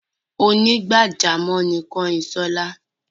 Onígbàjámọ̀ ni Kányinṣọ́lá.